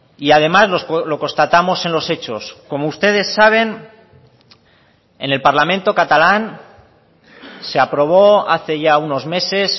y además lo constatamos en los hechos como ustedes saben en el parlamento catalán se aprobó hace ya unos meses